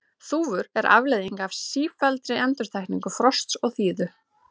þúfur eru afleiðing af sífelldri endurtekningu frosts og þíðu